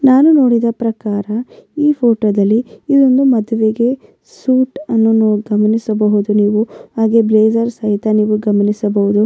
ನಾನು ನೋಡಿದ ಪ್ರಕಾರ ಈ ಫೋಟೋದಲ್ಲಿ ಇಲ್ಲೊಂದು ಮದುವೆಗೆ ಸೂಟ್ ಅನ್ನು ನಾವು ಗಮನಿಸಬಹುದು ನೀವು ಹಾಗೆ ಬ್ರೆಜರ್ ಸಹಿತ ನೀವು ಗಮನಿಸಬಹುದು.